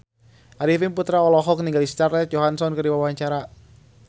Arifin Putra olohok ningali Scarlett Johansson keur diwawancara